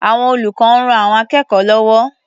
Àwọn olùkọ́ ń ran akẹ́kọ̀ó lọ́wọ́.